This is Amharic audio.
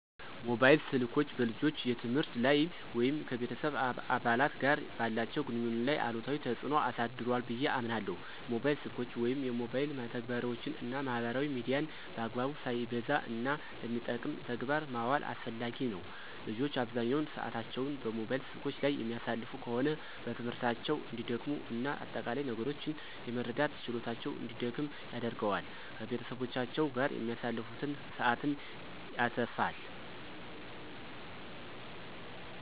ሞባይል ስልኮች በልጆች የትምህርት ላይ ወይም ከቤተሰብ አባላት ጋር ባላቸው ግንኙነት ላይ አሉታዊ ተጽዕኖ አሳድሯ ብየ አምናለሁ። ሞባይል ስልኮችን ወይም የሞባይል መተግበሪያወችን እና ማህበራዊ ሚዲያን በአግባቡ፣ ሳይበዛ፣ እና ለሚጠቅም ተግባር ማዋል አስፈላጊ ነው። ልጆች አብዛኛውን ሰአታቸውን ሞባይል ስልኮች ላይ የሚያሳልፉ ከሆነ በትምህርታቸው እንዲደክሙ እና አጠቃላይ ነገሮችን የመረዳት ችሎታቸውን እንዲደክም ያደርገዋል። ከቤተሰቦቻቸው ጋር የሚያሳልፉትን ሰአትም ያተፋል።